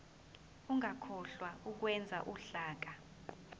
ungakhohlwa ukwenza uhlaka